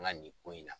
N ka nin ko in na